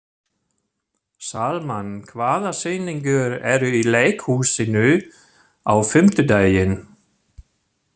Salmann, hvaða sýningar eru í leikhúsinu á fimmtudaginn?